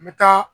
N bɛ taa